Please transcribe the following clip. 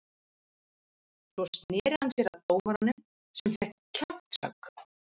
Svo sneri hann sér að dómaranum sem fékk kjaftshögg.